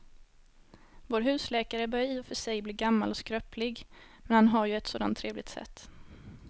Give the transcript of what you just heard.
Vår husläkare börjar i och för sig bli gammal och skröplig, men han har ju ett sådant trevligt sätt!